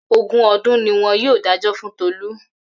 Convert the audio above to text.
Ogún ọdún ni wọ́n dájọ́ fún Tolu